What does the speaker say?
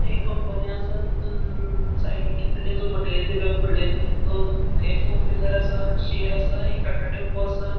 ते एक कंपनी आसा तितुन साइडिक किदतरी जो मटेरियल दिला फूडल्याण दोन ए फोर व्हीलर आसा शेड आसा एक टाटा टेम्पो आसा.